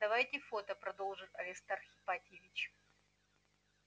давайте фото продолжил аристарх ипатьевич